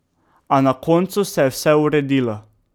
A na koncu se je vse uredilo.